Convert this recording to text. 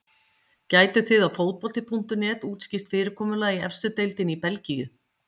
Gætuð þið á fótbolti.net útskýrt fyrirkomulag í efstu deildinni í Belgíu?